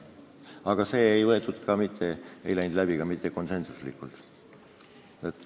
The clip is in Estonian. Aga see asi ei läinud läbi mitte konsensuslikult.